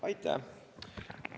Aitäh!